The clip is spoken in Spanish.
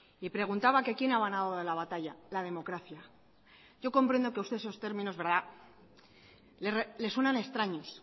y preguntaba que quién ha ganado la batalla la democracia yo comprendo que usted esos términos le suenan extraños